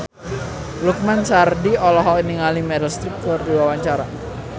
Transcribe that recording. Lukman Sardi olohok ningali Meryl Streep keur diwawancara